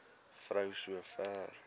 vrou so ver